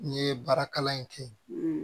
N ye baara kalan in kɛ